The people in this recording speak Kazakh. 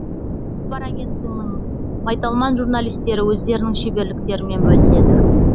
хабар агенттігінің майталман журналистері өздерінің шеберліктерімен бөліседі